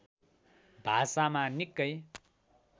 भाषामा निकै